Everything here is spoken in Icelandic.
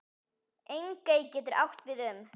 Engey getur átt við um